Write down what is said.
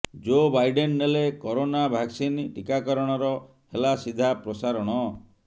ଜୋ Biden ନେଲେ corona vaccine ଟିକାକରଣର ହେଲା ସିଧା ପ୍ରସାରଣ